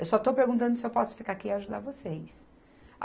Eu só estou perguntando se eu posso ficar aqui e ajudar vocês.